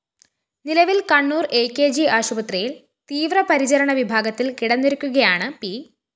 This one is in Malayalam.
നിലവില്‍ കണ്ണൂര്‍ അ കെ ജി ആശുപത്രിയില്‍ തീവ്രപരിചരണ വിഭാഗത്തില്‍ കിടന്നിരിക്കുകയാണ് പി